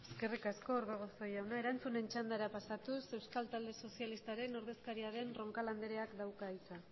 besterik gabe mila esker eskerrik asko orbegozo jauna erantzunen txandara pasatuz euskal talde sozialistaren ordezkaria den roncal andreak dauka hitza